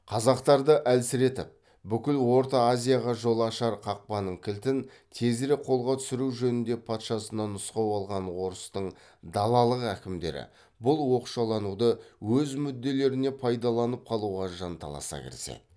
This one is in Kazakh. қазақтарды әлсіретіп бүкіл орта азияға жол ашар қақпаның кілтін тезірек қолға түсіру жөнінде патшасынан нұсқау алған орыстың далалық әкімдері бұл оқшалануды өз мүдделеріне пайдаланып қалуға жанталаса кіріседі